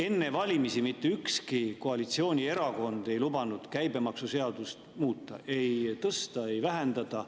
Enne valimisi mitte ükski koalitsioonierakond ei lubanud käibemaksuseadust muuta, ei tõsta ega vähendada.